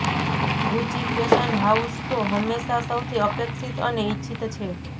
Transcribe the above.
Gucci fashion house show હંમેશા સૌથી અપેક્ષિત અને ઇચ્છિત છે